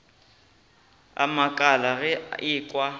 a makala ge a ekwa